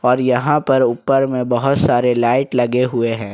और यहां पर ऊपर में बहुत सारे लाइट लगे हुए हैं।